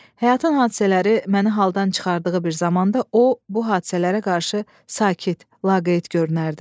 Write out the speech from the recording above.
Həyatın hadisələri məni haldan çıxardığı bir zamanda o, bu hadisələrə qarşı sakit, laqeyd görünərdi.